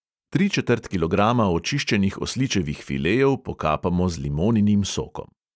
Tri četrt kilograma očiščenih osličevih filejev pokapamo z limoninim sokom.